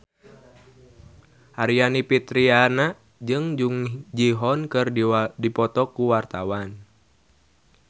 Aryani Fitriana jeung Jung Ji Hoon keur dipoto ku wartawan